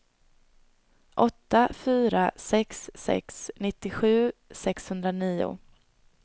åtta fyra sex sex nittiosju sexhundranio